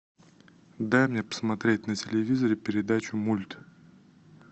дай мне посмотреть на телевизоре передачу мульт